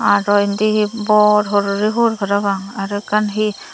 aro indi he bor horoli hul parapang aro ekkan he.